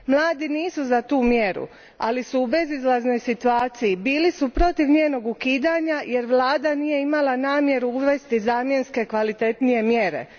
Mladi nisu za tu mjeru, ali su u bezizlaznoj situaciju Bili su protiv njenog ukidanja jer Vlada nije imala namjeru uvesti zamjenske kvalitetnije mjere.